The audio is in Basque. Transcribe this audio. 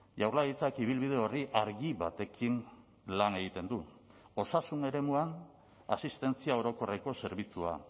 jaurlaritzak ibilbide orri argi batekin lan egiten du osasun eremuan asistentzia orokorreko zerbitzua